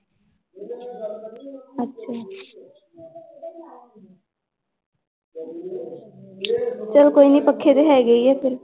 ਚੱਲ ਕੋਈ ਨੀ ਪੱਖੇ ਤਾਂ ਹੈਗੇ ਹੀ ਆ ਫਿਰ।